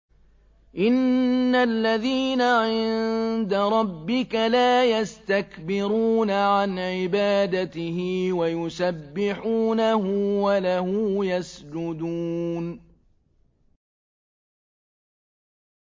إِنَّ الَّذِينَ عِندَ رَبِّكَ لَا يَسْتَكْبِرُونَ عَنْ عِبَادَتِهِ وَيُسَبِّحُونَهُ وَلَهُ يَسْجُدُونَ ۩